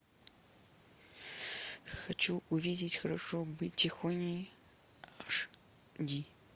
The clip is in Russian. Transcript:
хочу увидеть хорошо быть тихоней аш ди